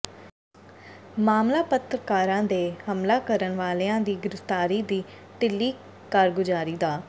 ਮਾਮਲਾ ਪੱਤਰਕਾਰਾਂ ਤੇ ਹਮਲਾ ਕਰਨ ਵਾਲਿਆਂ ਦੀ ਗ੍ਰਿਫਤਾਰੀ ਦੀ ਢਿੱਲੀ ਕਾਰਗੁਜਾਰੀ ਦਾ